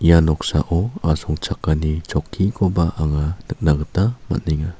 ia noksao asongchakani chokkikoba anga nikna gita man·enga.